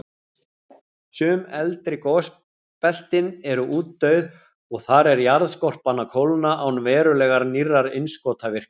Sum eldri gosbeltin eru útdauð, og þar er jarðskorpan að kólna án verulegrar nýrrar innskotavirkni.